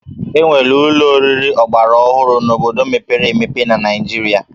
E nwere ụlọ oriri ọgbaraọhụrụ n'obodo mepere emepe na Naịjirịa